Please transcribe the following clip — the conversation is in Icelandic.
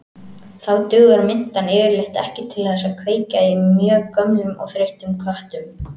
Þá dugar mintan yfirleitt ekki til þess að kveikja í mjög gömlum og þreyttum köttum.